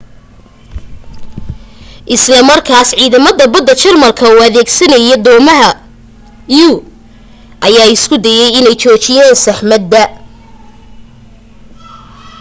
isla markaas ciidamada badda jarmalka oo adeegsanaya doomaha u ayaa isku dayay inay joojiyaan saxmadda